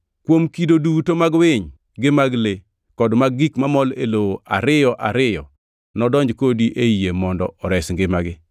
Kuom kido duto mag winy, gi mag le, kod mag gik mamol e lowo ariyo ariyo nodonj kodi ei yie mondo ores ngimagi.